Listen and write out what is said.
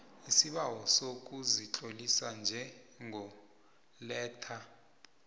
isibawo sokuzitlolisa njengoletha